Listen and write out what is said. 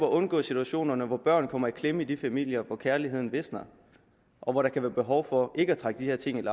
at undgå situationerne hvor børn kommer i klemme i de familier hvor kærligheden visner og hvor der kan være behov for ikke at trække de her ting